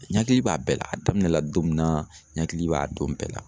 Ɲakili b'a bɛɛ la a daminɛla don min na ɲakili b'a don bɛɛ la.